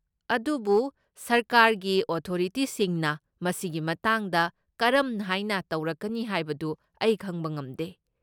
ꯑꯗꯨꯕꯨ ꯁꯔꯀꯥꯔꯒꯤ ꯑꯣꯊꯣꯔꯤꯇꯤꯁꯤꯡꯅ ꯃꯁꯤꯒꯤ ꯃꯇꯥꯡꯗ ꯀꯔꯝꯍꯥꯏꯅ ꯇꯧꯔꯛꯀꯅꯤ ꯍꯥꯏꯕꯗꯨ ꯑꯩ ꯈꯪꯕ ꯉꯝꯗꯦ꯫